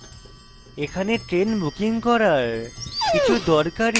এখানে train booking করার কিছু দরকারী বেসরকারী websites রয়েছে